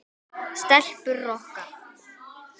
Stelpur Rokka!